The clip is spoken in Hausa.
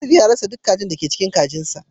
Nesif ya rasa duk kajin da ke cikin kajinsa